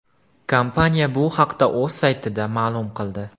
Kompaniya bu haqda o‘z saytida ma’lum qildi.